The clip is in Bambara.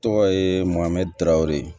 Tɔgɔ ye mohamɛd darawele